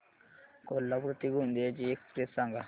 कोल्हापूर ते गोंदिया ची एक्स्प्रेस सांगा